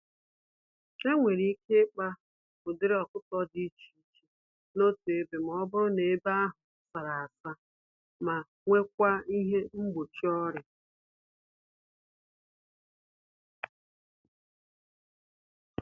Enwere ike ịkpa ụdịrị ọkụkọ dị iche iche n'otu ebe, mọbụrụ na ebe ahụ sárá-asa ma nwekwa ihe mgbochi ọrịa.